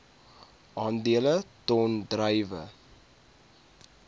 aandele ton druiwe